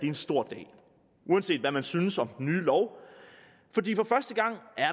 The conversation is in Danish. en stor dag uanset hvad man synes om den nye lov fordi